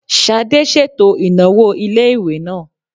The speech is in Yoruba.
Ṣadé ṣètò ìnáwó ilé-ìwé náà